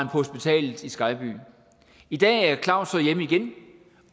hospitalet i skejby i dag er claus så hjemme igen